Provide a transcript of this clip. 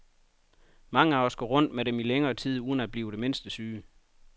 Mange af os går rundt med dem i længere tid uden at blive det mindste syge.